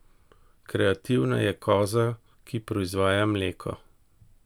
Kreativna je koza, ki proizvaja mleko.